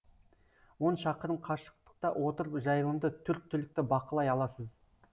он шақырым қашықтықта отырып жайылымды төрт түлікті бақылай аласыз